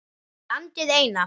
Landið eina.